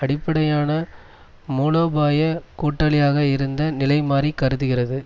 அடிப்படையான மூலோபாய கூட்டாளியாக இருந்த நிலைமாறி கருதுகிறது